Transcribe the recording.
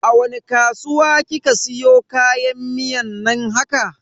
A wani kasuwa kika siyo kayan miyan nan haka?